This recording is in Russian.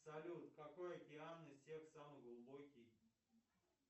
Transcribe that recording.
салют какой океан из всех самый глубокий